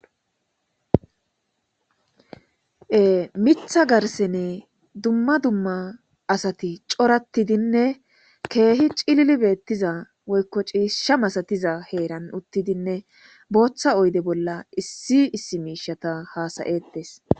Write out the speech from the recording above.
mitha garsene dumma dumma asati corattidinne keehi cilili beettiza woykko ciisha masatiza heeran uttidinne booththa oyde bolla issi issi miishata haasayetes.